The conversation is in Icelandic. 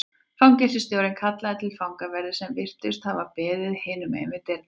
Fangelsisstjórinn kallaði til fangaverði sem virtust hafa beðið hinum megin við dyrnar.